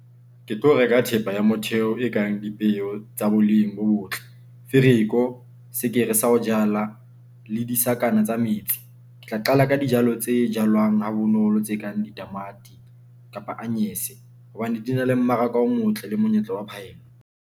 Ke tlo reka thepa ya motheo e kang dipeu tsa boleng bo botle, fereko, sekere sa ho jala le disakana tsa metsi, Ke tla qala ka dijalo tse jalwang ha bonolo, tse kang ditamati kapa anyanyese hobane di na le mmaraka o motle le monyetla wa phaelo.